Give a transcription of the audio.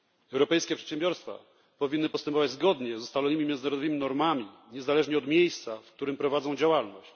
Europejskie przedsiębiorstwa powinny postępować zgodnie z ustalonymi międzynarodowymi normami niezależnie od miejsca, w którym prowadzą działalność.